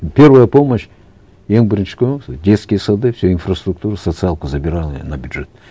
первая помощь ең бірінші көмек сол детские сады всю инфраструктуру социалку забирал я на бюджет